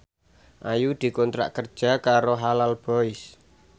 Ayu dikontrak kerja karo Halal Boys